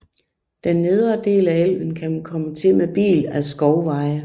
Den nedre del af elven kan man komme til med bil ad skovveje